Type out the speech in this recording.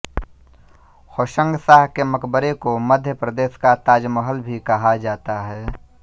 होशंगशाह के मकबरे को मध्य प्रदेश का ताजमहल भी कहा जाता है